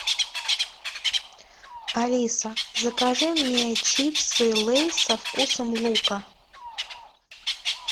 алиса закажи мне чипсы лейс со вкусом лука